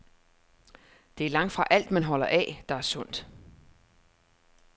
Det er langtfra alt, man holder af, der er sundt.